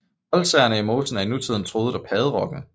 Oldsagerne i mosen er i nutiden truet af padderokken